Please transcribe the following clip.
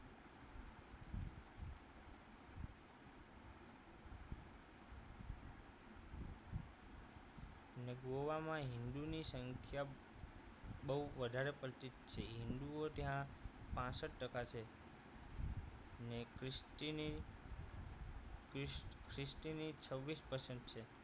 અને ગોવામાં હિન્દુ ની સંખ્યા બહુ વધારે પડતી છે હિન્દુઓ ત્યાં પાંસઠ ટકા છે અને ખ્રિસ્તી ની ખ્રિસ ખ્રિસ્તી ની છવ્વીસ percent